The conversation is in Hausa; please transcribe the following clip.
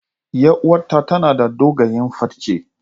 Yar uwata tana da dogayen farce.